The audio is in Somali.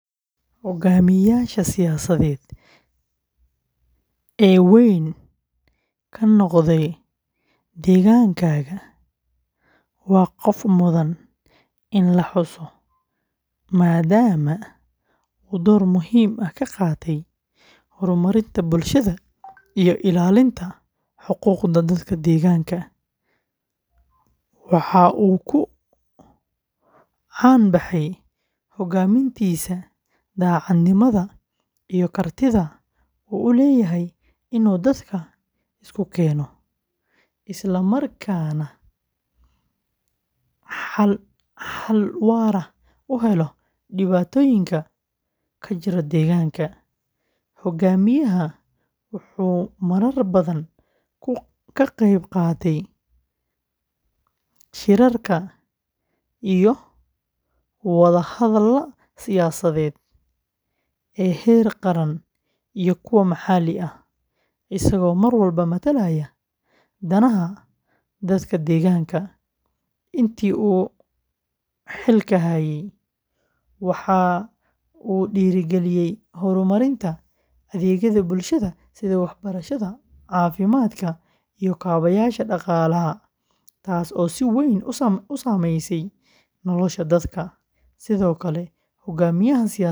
Hogaamiyaha siyaasadeed ee weyn ka noqday deegaankaaga waa qof mudan in la xuso, maadaama uu door muhiim ah ka qaatay horumarinta bulshada iyo ilaalinta xuquuqda dadka deegaanka. Waxa uu ku caan baxay hogaamintiisa daacadnimada iyo kartida uu u leeyahay inuu dadka isku keeno, isla markaana xal waara u helo dhibaatooyinka ka jira deegaanka. Hogaamiyahan wuxuu marar badan ka qayb qaatay shirarka iyo wada hadallada siyaasadeed ee heer qaran iyo kuwa maxalli ah, isagoo mar walba matalaya danaha dadka deegaanka. Intii uu xilka hayay, waxa uu dhiirrigeliyay horumarinta adeegyada bulshada sida waxbarashada, caafimaadka, iyo kaabayaasha dhaqaalaha, taas oo si weyn u saameysay nolosha dadka.